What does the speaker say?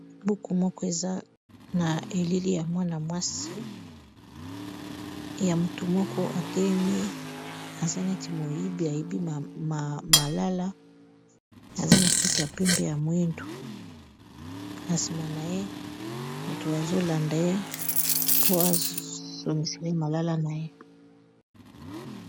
Buku moko, eza na elili ya mwana-mwasi ya motu moko atelemi, aza neti moyibi, ayibi malala. Aza na suki ya pembe, ya mwindu. Na nsima na ye, moto azo landa ye po azo ngisa malala na ye.